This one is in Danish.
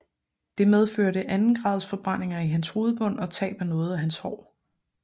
Det medførte andengradsforbrændinger i hans hovedbund og tab af noget af hans hår